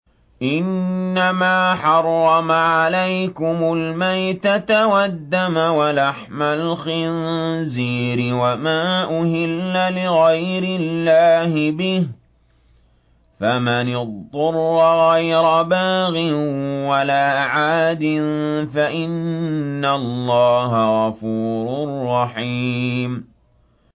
إِنَّمَا حَرَّمَ عَلَيْكُمُ الْمَيْتَةَ وَالدَّمَ وَلَحْمَ الْخِنزِيرِ وَمَا أُهِلَّ لِغَيْرِ اللَّهِ بِهِ ۖ فَمَنِ اضْطُرَّ غَيْرَ بَاغٍ وَلَا عَادٍ فَإِنَّ اللَّهَ غَفُورٌ رَّحِيمٌ